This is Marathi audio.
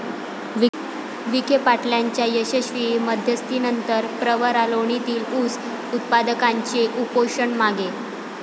विखेपाटलांच्या यशस्वी मध्यस्थीनंतर प्रवरा लोणीतील ऊस उत्पादकांचे उपोषण मागे